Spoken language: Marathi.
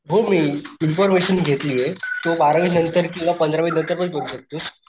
हो इन्फॉरमेशन घेतलीये तू बारावी नंतर किंवा पंधरावी नंतर पण करू शकतोस.